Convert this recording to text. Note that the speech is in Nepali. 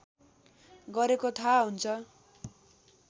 गरेको थाहा हुन्छ